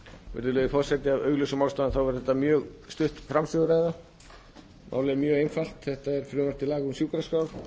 virðulegi forseti af augljósum ástæðum er þetta mjög stutt framsöguræða málið er mjög einfalt þetta er frumvarp til laga um sjúkraskrár